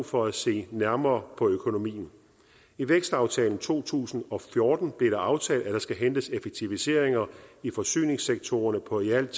for at se nærmere på økonomien i vækstaftalen to tusind og fjorten blev det aftalt at der skal hentes effektiviseringer i forsyningssektorerne på i alt